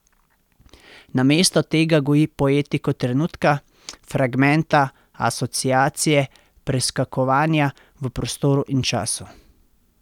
Namesto tega goji poetiko trenutka, fragmenta, asociacije, preskakovanja v prostoru in času.